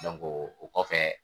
o kɔfɛ